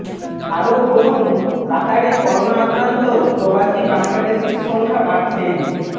আরো পড়ুনঃ কাতারে করোনা আক্রান্ত প্রবাসী বাংলাদেশির সংখ্যা বাড়ছেই